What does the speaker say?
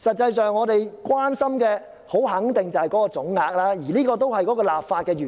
可是，我們所關心的肯定是總額，而這也是立法的原意。